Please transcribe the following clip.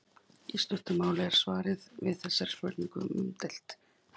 Í stuttu máli sagt er svarið við þessari spurningu umdeilt.